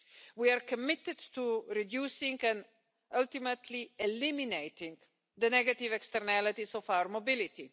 We are committed to reducing and ultimately eliminating the negative externalities of our mobility.